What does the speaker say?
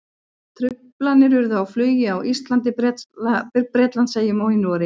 Truflanir urðu á flugi á Íslandi, Bretlandseyjum og í Noregi.